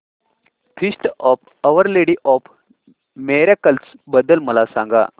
feast of Our Lady of Miracles बद्दल मला सांगा